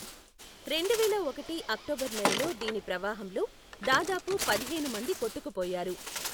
రెండువేల ఒకటి అక్టోబర్ నెలలో దీని ప్రవాహంలో దాదాపు పదిహేను మంది కొట్టుకుపోయారు.